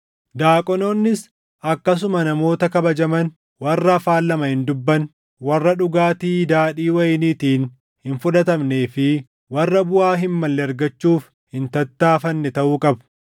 Daaqonoonnis akkasuma namoota kabajaman, warra afaan lama hin dubbanne, warra dhugaatii daadhii wayiniitiin hin fudhatamnee fi warra buʼaa hin malle argachuuf hin tattaaffanne taʼuu qabu.